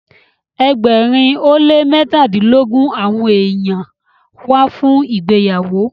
egbèrin o le mẹtadilogun awọn ènìyàn wá fun ìgbéyàwó.